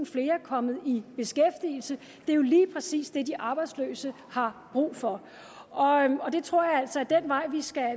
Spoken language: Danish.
flere kommet i beskæftigelse det er jo lige præcis det de arbejdsløse har brug for og jeg tror altså at det er den vej